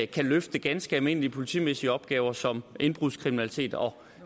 kan løfte ganske almindelige politimæssige opgaver som indbrudskriminalitet og